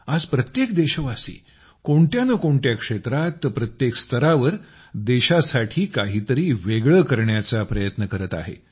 आज प्रत्येक देशवासी कोणत्या नं कोणत्या क्षेत्रात प्रत्येक स्तरावर देशासाठी काही तरी वेगळं करण्याचा प्रयत्न करत आहे